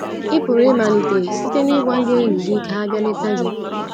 Ị pụrụ ịmalite site n’ịgwa ndị enyi gị ka ha bịa leta gị.